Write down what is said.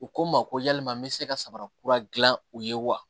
U ko n ma ko yalima n bɛ se ka sabara kura gilan u ye wa